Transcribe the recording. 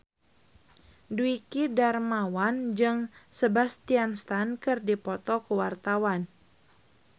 Dwiki Darmawan jeung Sebastian Stan keur dipoto ku wartawan